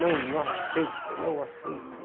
Não, não aceito, não aceito.